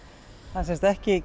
það er ekki